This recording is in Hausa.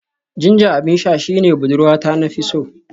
Ginger abin sha shine budurwata na fi so